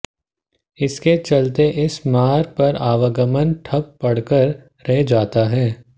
इसके चलते इस मार्ग पर आवागमन ठप पड़कर रह जाता है